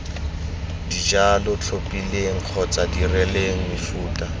dijalo tlhophileng kgotsa dirileng mefuta